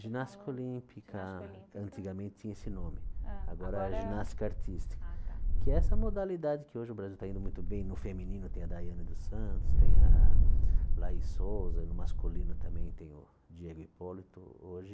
Ginástica Olímpica, Ginástica Olímpica antigamente tinha esse nome, Hã agora Agora é Ginástica Artística ah tá, que é essa modalidade que hoje o Brasil está indo muito bem no feminino, tem a Daiane dos Santos, tem a a Laís Souza, no masculino também tem o Diego Hipólito, hoje...